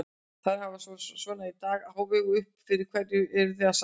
Þarf að hafa svona dag í hávegum uppi og fyrir hverju eruð þið að safna?